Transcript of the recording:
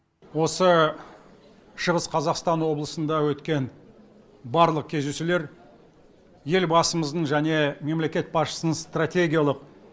осы шығыс қазақстан облысында өткен барлық кездесулер елбасымыздың және мемлекет басшысының стратегиялық